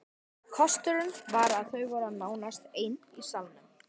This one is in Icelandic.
Kosturinn var að þau voru nánast ein í salnum.